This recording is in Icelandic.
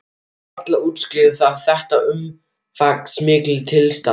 En varla útskýrði það þetta umfangsmikla tilstand.